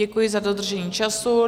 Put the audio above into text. Děkuji za dodržení času.